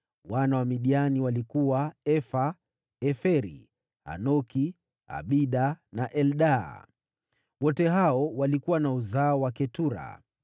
Wana wa Midiani walikuwa: Efa, Eferi, Hanoki, Abida na Eldaa. Wote hao walikuwa wa uzao wa Ketura.